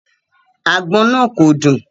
Agbon naa ko dun